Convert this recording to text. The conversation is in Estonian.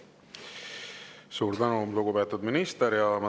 Suur tänu, lugupeetud minister!